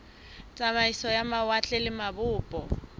tsamaiso ya mawatle le mabopo